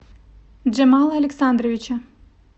джамала александровича